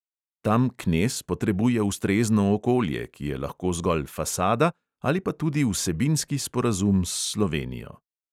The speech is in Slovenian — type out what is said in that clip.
Tam knez potrebuje ustrezno okolje, ki je lahko zgolj fasada ali pa tudi vsebinski sporazum s slovenijo.